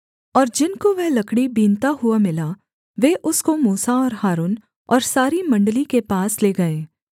और जिनको वह लकड़ी बीनता हुआ मिला वे उसको मूसा और हारून और सारी मण्डली के पास ले गए